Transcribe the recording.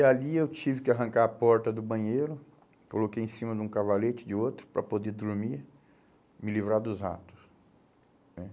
E ali eu tive que arrancar a porta do banheiro, coloquei em cima de um cavalete, de outro, para poder dormir, me livrar dos ratos né